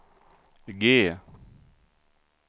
G